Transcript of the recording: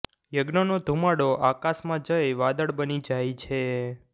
યજ્ઞનો ધૂમાડો આકાશમાં જઈ વાદળ બની જાય છે